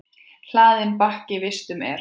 Hlaðinn bakki vistum er.